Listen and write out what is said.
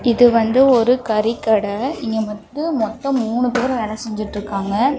இது வந்து ஒரு கறி கடை. இங்க மொத்த மொத்தம் மூணு பேரு வேலை செஞ்சிட்டு இருக்காங்க.